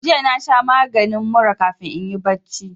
Jiya na sha maginin mura kafin inyi barci